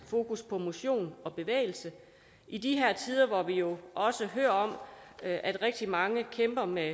fokus på motion og bevægelse i de her tider hvor vi jo hører om at rigtig mange kæmper med